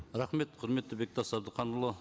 рахмет құрметті бектас әбдіханұлы